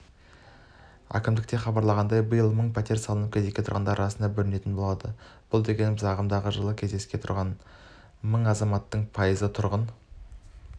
әкімдікте хабарлағандай биыл мың пәтер салынып кезекке тұрғандар арасында бөлінетін болады бұл дегеніміз ағымдағы жылы кезекке тұрған мың азаматтың пайызы тұрғын